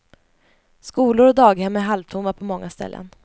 Skolor och daghem är halvtomma på många ställen.